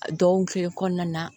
A dɔgɔkun kɔnɔna na